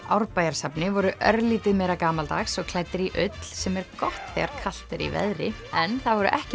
Árbæjarsafni voru örlítið meira gamaldags og klæddir í ull sem er gott þegar kalt er í veðri en það voru ekki